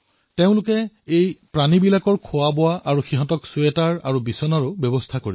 তেওঁলোকে এই পশুবোৰৰ খোৱাবোৱা আৰু ছুৱেটাৰ বিচনাৰ ব্যৱস্থা কৰিছে